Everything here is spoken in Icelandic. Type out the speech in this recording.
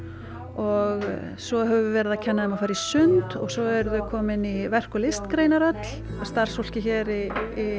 og svo höfum við verið að kenna þeim að fara í sund svo eru þau komin í verk og listgreinar öll starfsfólkið hér í